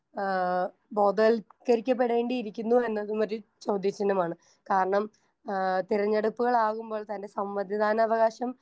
Speaker 1 ആഹ് ബോധവൽക്കരിക്കപ്പെടേണ്ടിയിരിക്കുന്നു എന്നതുമൊരു ചോദ്യചിഹ്നമാണ്. കാരണം ആഹ് തിരഞ്ഞെടുപ്പുകളാകുമ്പോൾ തന്നെ സമ്മതിദാനാവകാശം